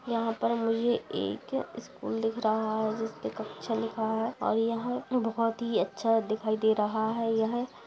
यहां पर मुझे एक स्कूल दिख रहा है जिसपर कक्षा लिखा है और यह बहुत ही अच्छा दिखाई दे रहा है यह।